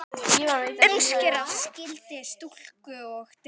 Umskera skyldi stúlkur og drengi.